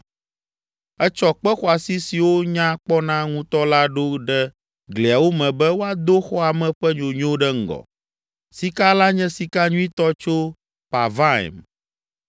Etsɔ kpe xɔasi siwo nya kpɔna ŋutɔ la ɖo ɖe gliawo me be woado xɔa me ƒe nyonyo ɖe ŋgɔ. Sika la nye sika nyuitɔ tso Parvaim.